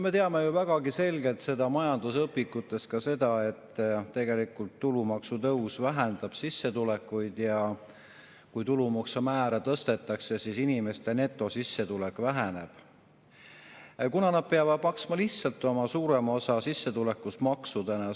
Me teame ju vägagi selgelt majandusõpikutest seda, et tegelikult tulumaksutõus vähendab sissetulekuid, ja kui tulumaksumäära tõstetakse, siis inimeste netosissetulek väheneb, kuna nad peavad maksma suurema osa oma sissetulekust maksudena ära.